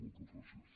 moltes gràcies